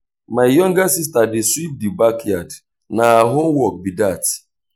my younger sista dey sweep di backyard na her own work be dat.